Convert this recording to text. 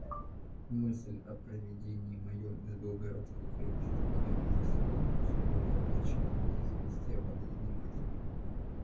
мысль о переведении моём из белогорской крепости меня ужасала но всего более огорчило меня известие о болезни матери